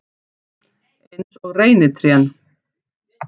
Eins og reynitrén.